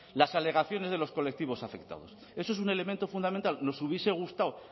las alegaciones de los colectivos afectados eso es un elemento fundamental nos hubiese gustado